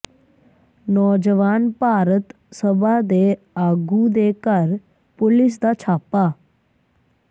ਨੌਜਵਾਨ ਭਾਰਤ ਸਭਾ ਦੇ ਆਗੂ ਦੇ ਘਰ ਪੁਲਿਸ ਦਾ ਛਾਪਾ